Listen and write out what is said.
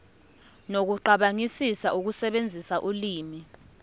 nokucabangisisa ukusebenzisa ulimi